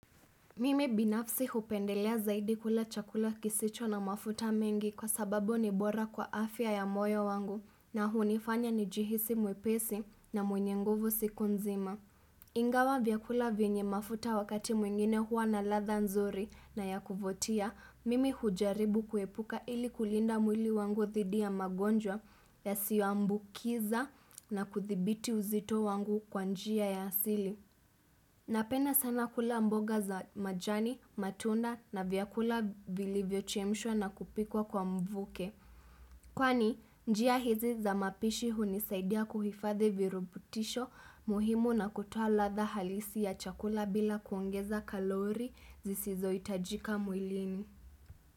Mimi binafsi hupendelea zaidi kula chakula kisicho na mafuta mengi kwa sababu ni bora kwa afya ya moyo wangu na hunifanya nijihisi mwepesi na mwenye nguvu siku nzima. Ingawa vyakula venye mafuta wakati mwingine hua na ladha nzuri na ya kuvutia, mimi hujaribu kuepuka ili kulinda mwili wangu dhidi ya magonjwa yasiyoambukiza na kudhibiti uzito wangu kwa njia ya asili. Napenda sana kula mboga za majani, matunda na vyakula vilivyochemshwa na kupikwa kwa mvuke. Kwani, njia hizi za mapishi hunisaidia kuhifadhi virubutisho muhimu na kutoa ladha halisi ya chakula bila kuongeza kalori zisizo hitajika mwilini.